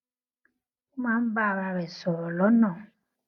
ó máa ń bá ara rè sòrò lónà